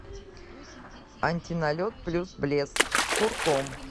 антиналет плюс блеск с курком